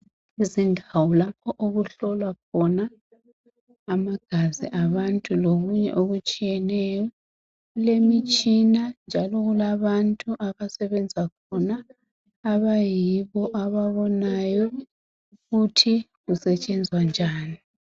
Izindawo lapho okuhlolwa khona amagazi abantu lokunye okutshiyeneyo, kulo mitshina njalo kulabantu abasebenza khona abayibo ababonayo ukuthi kusetshenzwa njani.